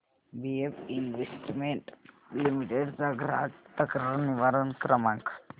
BF investment limited चा ग्राहक तक्रार निवारण क्रमांक